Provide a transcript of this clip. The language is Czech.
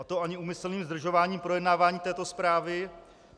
A to ani úmyslným zdržováním projednávání této zprávy.